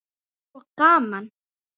Og gaman.